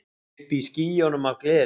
Uppi í skýjunum af gleði.